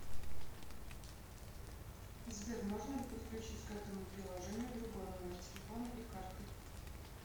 сбер можно ли подключить к этому приложению другой номер телефона и карты